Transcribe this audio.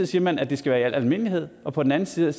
siger man at det skal være i al almindelighed og på den anden side